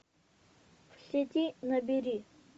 в сети набери